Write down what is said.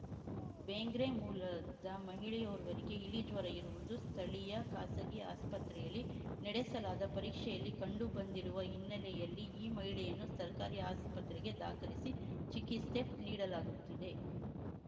ಬೆಂಗ್ರೆ ಮೂಲದ ಮಹಿಳೆಯೋರ್ವರಿಗೆ ಇಲಿಜ್ವರ ಇರುವುದು ಸ್ಥಳೀಯ ಖಾಸಗಿ ಆಸ್ಪತ್ರೆಯಲ್ಲಿ ನಡೆಸಲಾದ ಪರೀಕ್ಷೆಯಲ್ಲಿ ಕಂಡುಬಂದಿರುವ ಹಿನ್ನೆಲೆಯಲ್ಲಿ ಈ ಮಹಿಳೆಯನ್ನು ಸರ್ಕಾರಿ ಆಸ್ಪತ್ರೆಗೆ ದಾಖಲಿಸಿ ಚಿಕಿತ್ಸೆ ನೀಡಲಾಗುತ್ತಿದೆ